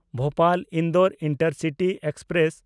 ᱵᱷᱳᱯᱟᱞ–ᱤᱱᱫᱳᱨ intercity express